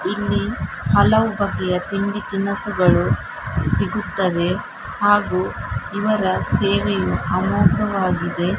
ಇಲ್ಲಿ ಹಲವು ಬಗೆಯ ತಿಂಡಿ ತಿನಿಸುಗಳು ಸಿಗುತ್ತವೆ ಹಾಗು ಇವರ ಸೇವೆಯು ಅಮೋಘವಾಗಿದೆ .